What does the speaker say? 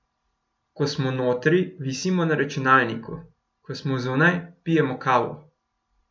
Ko smo notri, visimo na računalniku, ko smo zunaj, pijemo kavo ...